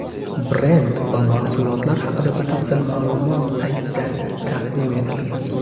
Brend va mahsulotlar haqida batafsil ma’lumot saytida taqdim etilgan.